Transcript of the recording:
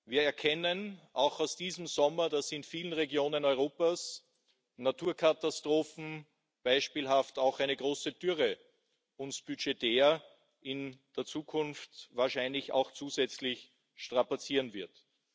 Wir erkennen außerdem aus diesem Sommer, dass in vielen Regionen Europas Naturkatastrophen, beispielhaft eine große Dürre, uns budgetär in der Zukunft wahrscheinlich auch zusätzlich strapazieren werden.